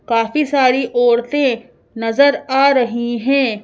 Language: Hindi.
काफी सारी औरतें नजर आ रही हैं।